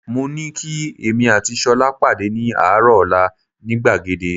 Mo ní kí èmi àti Ṣọlá pàdé ní àárọ̀ ọ̀la ní gbàgede